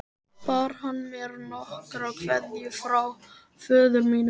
Bar hann mér nokkra kveðju frá föður mínum?